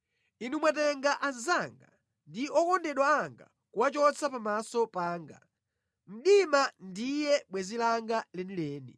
Inu mwatenga anzanga ndi okondedwa anga kuwachotsa pamaso panga; mdima ndiye bwenzi langa lenileni.